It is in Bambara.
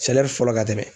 fɔlɔ ka tɛmɛ